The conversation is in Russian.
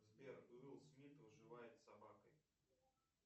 сбер уилл смит выживает с собакой